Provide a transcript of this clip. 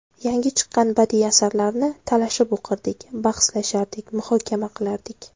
Yangi chiqqan badiiy asarlarni talashib o‘qirdik, bahslashardik, muhokama qilardik.